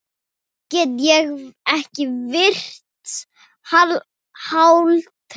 Ég get ekki varist hlátri.